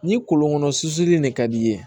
Ni kɔlɔnkɔnɔ su in ne ka d'i ye